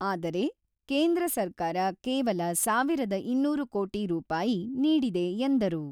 ಆದರೆ, ಕೇಂದ್ರ ಸರ್ಕಾರ ಕೇವಲ ಸಾವಿರದ ಇನ್ನೂರು ಕೋಟಿ ರೂಪಾಯಿ ನೀಡಿದೆ ಎಂದರು.